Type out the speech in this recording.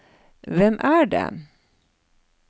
hvem er det